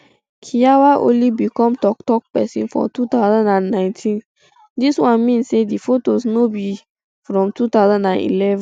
kiyawa only become toktok pesin for two thousand and nineteen dis one mean say di fotos no fit be from two thousand and eleven